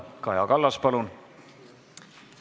Kaja Kallas, palun!